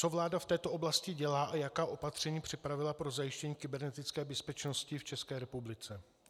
Co vláda v této oblasti dělá a jaká opatření připravila pro zajištění kybernetické bezpečnosti v České republice?